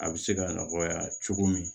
A bɛ se ka nɔgɔya cogo min